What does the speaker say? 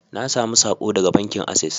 Na samu sako daga bankin Access